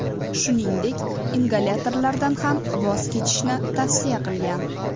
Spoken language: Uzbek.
Shuningdek, ingalyatorlardan ham voz kechishni tavsiya qilgan.